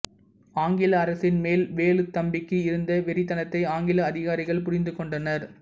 ஆங்கில அரசின் மேல் வேலுத்தம்பிக்கு இருந்த வெறித்தனத்தை ஆங்கில அதிகாரிகள் புரிந்து கொண்டனர்